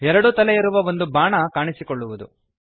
ಎರಡು ತಲೆ ಇರುವ ಒಂದು ಬಾಣ ಕಾಣಿಸಿಕೊಳ್ಳುವದು